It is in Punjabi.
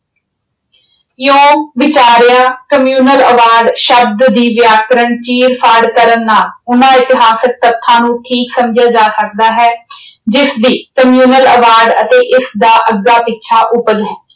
ਇਉਂ ਵਿਚਾਰਿਆਂ communal award ਸ਼ਬਦ ਦੀ ਵਿਆਕਰਣ ਚੀਰ-ਫਾੜ ਕਰਨ ਨਾਲ ਉਨ੍ਹਾਂ ਇਤਿਹਾਸਿਕ ਤੱਥਾਂ ਨੂੰ ਠੀਕ ਸਮਝਿਆ ਜਾ ਸਕਦਾ ਹੈ ਜਿਸਦੀ communal award ਅਤੇ ਇਸਦਾ ਅੱਗਾ-ਪਿੱਛਾ ਉਪਜ ਹੈ।